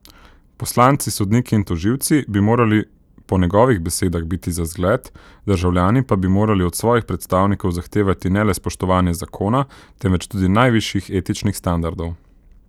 Poslanci, sodniki in tožilci bi morali po njegovih besedah biti za zgled, državljani pa bi morali od svojih predstavnikov zahtevati ne le spoštovanje zakona temveč tudi najvišjih etičnih standardov.